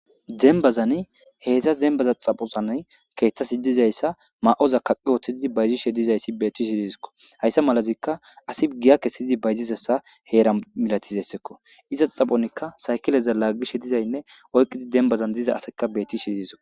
Denbazan heeththas denbaza xaphosan keeththasi dizayssa maa'oza kaqi ooththiidi bayzishe dizayssi betishe disikko hayssa malazikka asi giya kesiizi bayzisessa heera milatizessekko izas xaphonikka saykileza laagishe dizaynne oyqqizi denbazan diza asekka bettishe diisko.